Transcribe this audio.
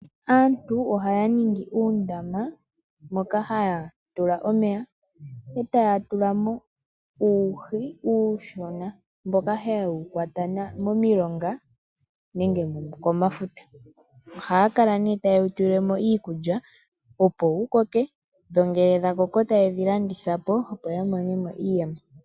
Aantu ohaya ningi uundama moka haya tula omeya etaya tula mo uuhi uushona mboka haye wu kwata momilonga nenge komafuta Ohaya kala ne tayewu tulile mo iikulya opo wukoke, dho ngele dha koko tayedhi landitha po opo yamone mo iiyemo.